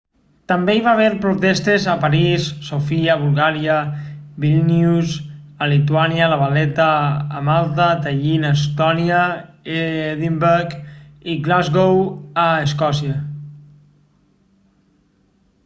també hi va haver protestes a parís sofia a bulgària vílnius a lituània la valetta a malta tallin a estònia i edimburg i glasgow a escòcia